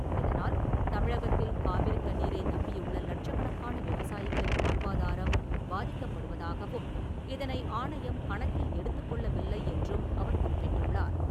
இதனால், தமிழகத்தில் காவிரித் தண்ணீரை நம்பியுள்ள லட்சக்கணக்கான விவசாயிகளின் வாழ்வாதாரம் பாதிக்கப்படுவதாகவும், இதனை ஆணையம் கணக்கில் எடுத்துக்கொள்ளவில்லை என்றும் அவர் குறிப்பிட்டுள்ளார்.